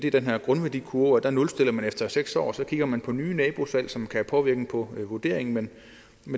er den her grundværdikurve der nulstiller man efter seks år og så kigger man på nye nabosalg som kan have påvirkning på vurderingen men